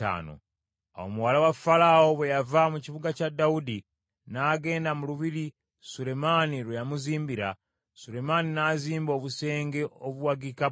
Awo muwala wa Falaawo bwe yava mu kibuga kya Dawudi n’agenda mu lubiri Sulemaani lwe yamuzimbira, Sulemaani n’azimba obusenge obuwagika bbugwe.